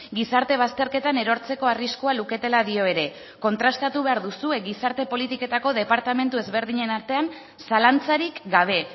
gizarte bazterketan erortzeko arriskua luketela dio ere kontrastatu behar duzue gizarte politiketako departamentu ezberdinen artean zalantzarik gabe